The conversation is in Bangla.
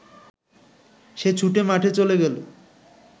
সে ছুটে মাঠে চ’লে গেল